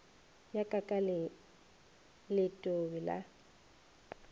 ya ka ka letobe la